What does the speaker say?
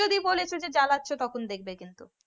যদি বলেছ যে জ্বালাছ তখন দেখবে কিন্তু।